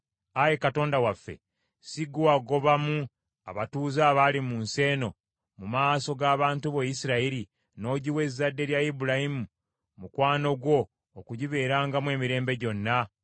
Ayi Katonda waffe, si ggwe wagobamu abatuuze abaali mu nsi eno mu maaso g’abantu bo Isirayiri, n’ogiwa ezzadde lya Ibulayimu mukwano gwo okugibeerangamu emirembe gyonna?